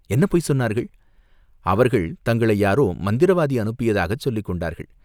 என்ன பொய் சொன்னார்கள்?" "அவர்கள் தங்களை யாரோ மந்திரவாதி அனுப்பியதாகச் சொல்லிக் கொண்டார்கள்.